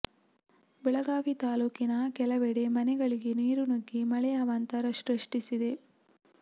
ಬೆಳಗಾವಿ ತಾಲೂಕಿನ ಕೆಲವೆಡೆ ಮನೆಗಳಿಗೆ ನೀರು ನುಗ್ಗಿ ಮಳೆ ಅವಾಂತರ ಸೃಷ್ಟಿಸಿದೆ